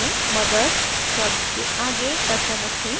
mothers शब्द के आगे cursor रखें